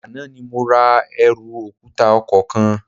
Àná ni mo ra ẹrù òkúta ọkọ̀ kan